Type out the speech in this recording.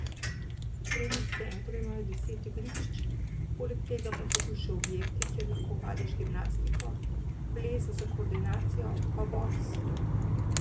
V trening centru imajo deset igrišč, poleg tega pa so tu še objekti, kjer lahko vadiš gimnastiko, ples za koordinacijo, pa boks ...